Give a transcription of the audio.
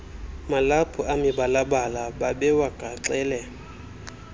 malaphu amibalabala babewagaxele